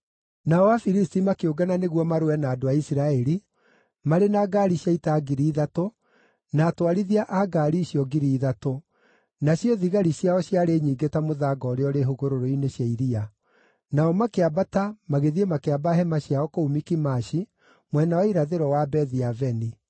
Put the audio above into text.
Nao Afilisti makĩũngana nĩguo marũe na andũ a Isiraeli, marĩ na ngaari cia ita ngiri ithatũ, na atwarithia a ngaari icio ngiri ithatũ, nacio thigari ciao ciarĩ nyingĩ ta mũthanga ũrĩa ũrĩ hũgũrũrũ-inĩ cia iria. Nao makĩambata magĩthiĩ makĩamba hema ciao kũu Mikimashi, mwena wa irathĩro wa Bethi-Aveni.